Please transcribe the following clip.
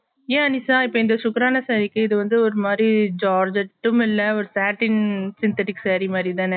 ஏன் நிஷா இந்த super ரான saree க்கு இதுவந்து ஒருமாரி jaarjet உம் இல்ல ஒரு patting synthetic saree மாதிரி தான